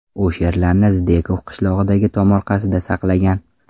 U sherlarni Zdekov qishlog‘idagi tomorqasida saqlagan.